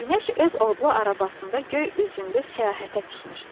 Günəş öz odlu arabasında göy üzündə səyahətə çıxmışdı.